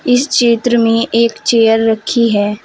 इस चित्र में एक चेयर रखी है।